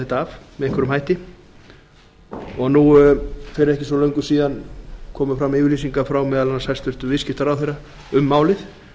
þetta af með einhverjum hætti og nú fyrir ekki svo löngu síðan komu fram yfirlýsingar frá meðal annars hæstvirtur viðskiptaráðherra um málið